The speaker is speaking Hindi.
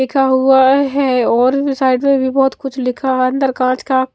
लिखा हुआ है और भी साइड में भी बोहोत कुछ लिखा हुआ अन्दर काच का--